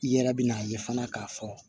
I yɛrɛ bɛ n'a ye fana k'a fɔ